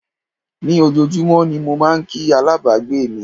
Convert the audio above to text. Ní ojoojúmọ́ ni mo máà ń kí alábàgbé mi.